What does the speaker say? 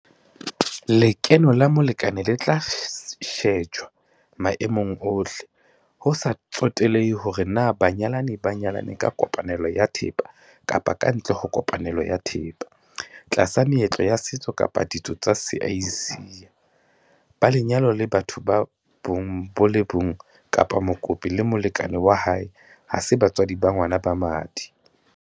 Lekeno la molekane le tla shejwa maemong ohle - ho sa tsotelehe hore na banyalani ba nyalane ka kopanelo ya thepa kapa kantle ho kopanelo ya thepa, tlasa meetlo ya setso kapa ka ditso tsa Seasia, ba lenyalong la batho ba bong bo le bong kapa mokopi le molekane wa hae ha se batswadi ba ngwana ba madi.